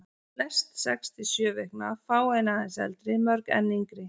Flest sex til sjö vikna, fáein aðeins eldri, mörg enn yngri.